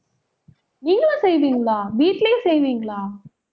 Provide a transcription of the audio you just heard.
நீங்களும் செய்வீங்களா வீட்டிலேயே செய்வீங்களா